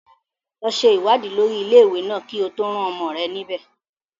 Lọ ṣe ìwádìí lórí ilé-ìwé náà kí o tó rán ọmọ rẹ níbẹ̀.